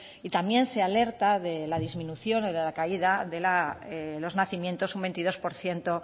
y también se alerta de la disminución o de la caída de los nacimientos un veintidós por ciento